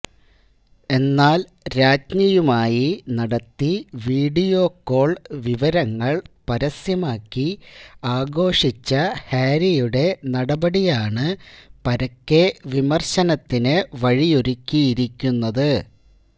എന്നാൽ രാജ്ഞിയുമായി നടത്തി വീഡിയോ കോൾ വിവരങ്ങൾ പരസ്യമാക്കി ആഘോഷിച്ച ഹാരിയുടെ നടപടിയാണ് പരക്കെ വിമർശനത്തിന് വഴിയൊരുക്കിയിരിക്കുന്നത്